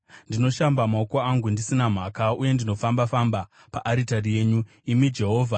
Ndinoshamba maoko angu ndisina mhaka, uye ndinofamba-famba paaritari yenyu, imi Jehovha,